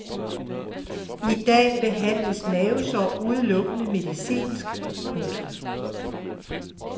I dag behandles mavesår udelukkende medicinsk. punktum